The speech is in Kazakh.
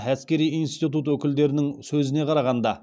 әскери институт өкілдерінің сөзіне қарағанда